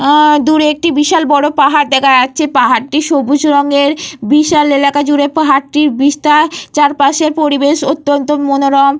উঃ দূরে একটি বিশাল বড় পাহাড় দেখা যাচ্ছে। পাহাড়টি সবুজ রঙের। বিশাল এলাকা জুড়ে পাহাড়টি বিস্তার। চারপাশের পরিবেশ অত্যন্ত মনোরম।